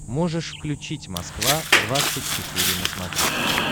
можешь включить москва двадцать четыре на смотрешке